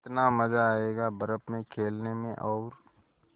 कितना मज़ा आयेगा बर्फ़ में खेलने में और